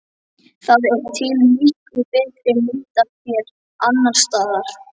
Það er til miklu betri mynd af þér annars staðar.